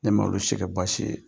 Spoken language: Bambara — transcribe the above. Ne ma olu si kɛ baasi ye.